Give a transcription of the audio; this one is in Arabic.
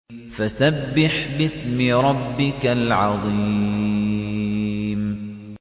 فَسَبِّحْ بِاسْمِ رَبِّكَ الْعَظِيمِ